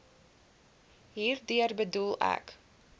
hierdeur bedoel ek